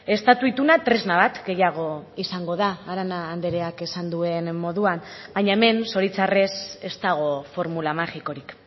estatu ituna tresna bat gehiago izango da arana andreak esan duen moduan baina hemen zoritxarrez ez dago formula magikorik